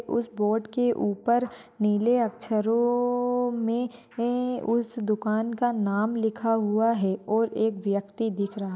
उस बोर्ड के ऊपर नीले अक्षरो अह मे उस दुकान का नाम लिखा हुआ है और एक व्यक्ति दिख रहा--